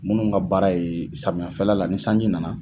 Munnu ka baara ye samiyafɛla la ni sanji nana.